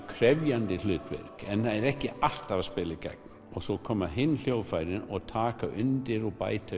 krefjandi hlutverk en er ekki alltaf að spila í gegn svo koma hin hljóðfærin og taka undir og bæta